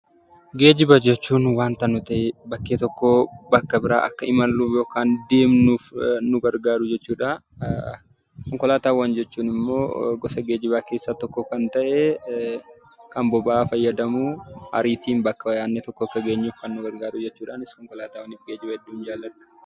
Geejiba jechuun waanta bakkee tokkoo gara bakka biraatti akka imalluuf yookaan deemnuuf nu gargaaru jechuudha. Konkolaataawwan jechuun immoo gosa geejibaa keessaa tokko kan ta'e, kan boba'aa fayyadamu, ariitiin bakka yaadne tokko akka geenyu kan nu gargaarudha. Anis konkolaataawwan geejibaa hedduun jaaladha.